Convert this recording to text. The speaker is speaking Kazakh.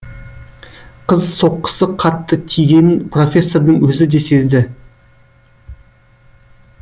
қыз соққысы қатты тигенін профессордың өзі де сезді